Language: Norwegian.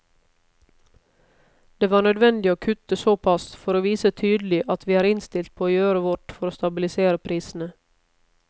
Det var nødvendig å kutte såpass for å vise tydelig at vi er innstilt på å gjøre vårt for å stabilisere prisene.